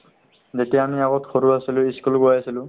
যেতিয়া আমি আগত সৰু আছিলো ই school গৈ আছিলো